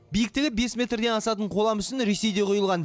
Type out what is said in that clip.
биіктігі бес метрден асатын қола мүсін ресейде құйылған